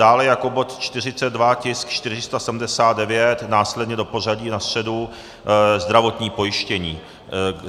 Dále jako bod 42, tisk 479, následně do pořadí na středu zdravotní pojištění.